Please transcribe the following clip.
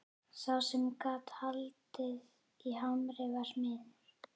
Sá sem gat haldið á hamri var smiður.